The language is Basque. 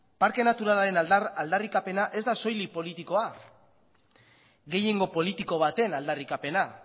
parke naturalaren aldarrikapena ez da soilik politikoa gehiengo politiko baten aldarrikapena